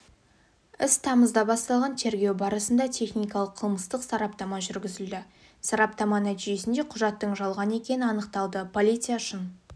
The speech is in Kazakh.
іс тамызда басталған тергеу барысында техникалық-қылмыстық сараптама жүргізілді сараптама нәтижесінде құжаттың жалған екені анықталды полиция шын